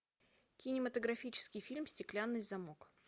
кинематографический фильм стеклянный замок